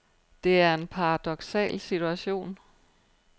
Det er en paradoksal situation.